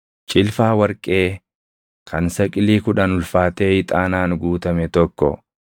cilfaa warqee kan saqilii kudhan ulfaatee ixaanaan guutame tokko,